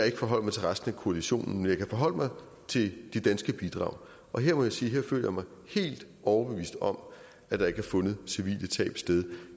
ikke forholde mig til resten af koalitionen men jeg kan forholde mig til de danske bidrag og her må jeg sige jeg føler mig helt overbevist om at der ikke har fundet civile tab sted